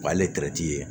O y'ale ye